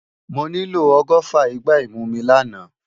Mo nílò ọgọ́fà igbá ìmumi làná